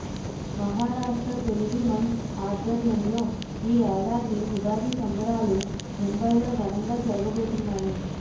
మహారాష్ట తెలుగు మంచ్ ఆధ్వర్యంలో ఈ యేడాది ఉగాది సంబరాలు ముంబైలో ఘనంగా జరుగబో తున్నాయి